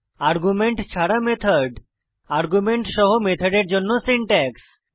argument ছাড়া মেথড এবং আর্গুমেন্ট সহ মেথডের জন্য সিনট্যাক্স